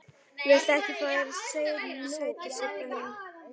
Viltu ekki fá þér sæti, Sibba mín?